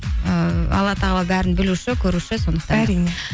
ііі алла тағала бәрін білуші көруші сондықтан әрине